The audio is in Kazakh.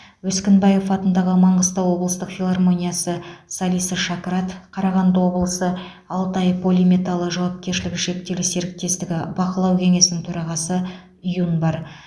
өскінбаев атындағы маңғыстау облыстық филармониясы солисі шакрат қарағанды облысы алтай полиметалы жауапкершілігі шектеулі серіктестігі бақылау кеңесінің төрағасы юн бар